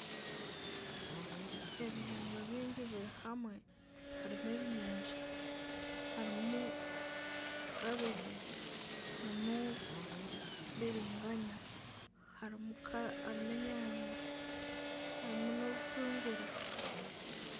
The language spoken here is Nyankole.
Ebihingwa byingi biri hamwe harimu ebinyansha, harimu kabege harimu biringanya harimu enyaanya harimu na obutunguru.